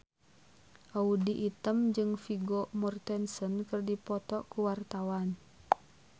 Audy Item jeung Vigo Mortensen keur dipoto ku wartawan